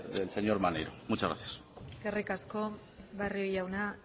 del señor maneiro muchas gracias eskerrik asko barrio jauna